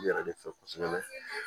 U yɛrɛ de fɛ kosɛbɛ